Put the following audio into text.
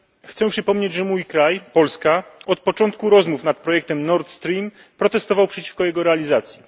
Chcę przypomnieć, że mój kraj, Polska, od początku rozmów nad projektem Nord Stream protestował przeciwko jego realizacji.